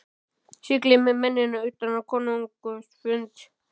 Siglið með mennina utan á konungs fund.